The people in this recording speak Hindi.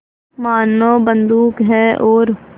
मानो बंदूक है और